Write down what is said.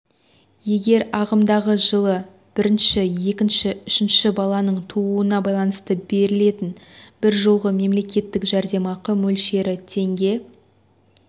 егер ағымдағы жылы бірінші екінші үшінші баланың тууына байланысты берілетін бір жолғы мемлекеттік жәрдемақы мөлшері теңге